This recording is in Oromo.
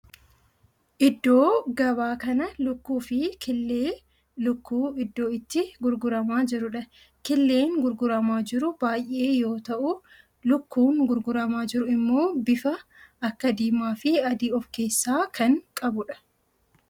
Iddoo gabaa kana lukkuu fi killee lukkuu iddoo itti gurguramaa jirudha. killeen gurguramaa jiru baayyee yoo ta'u lukkuun gurguramaa jiru immoo bifa akka diimaa fi adii of keessaa kan qabudha.